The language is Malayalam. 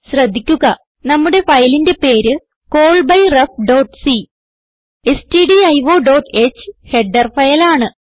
ശ്രദ്ധിക്കുക നമ്മുടെ ഫയലിന്റെ പേര് callbyrefസി stdioഹ് ഹെഡർ ഫയൽ ആണ്